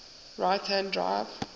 right hand drive